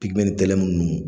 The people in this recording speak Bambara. Pipiniyɛri tɛlɛmu ninnu